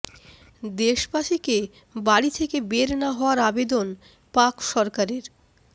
দেশবাসীকে বাড়ি থেকে বের না হওয়ার আবেদন পাক সরকারের